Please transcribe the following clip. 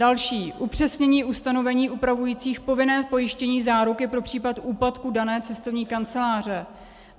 Další, upřesnění ustanovení upravujících povinné pojištění záruky pro případ úpadku dané cestovní kanceláře.